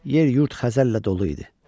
Yer-yurd xəzəllə dolu idi.